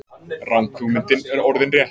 Ranghugmyndin er orðin rétt.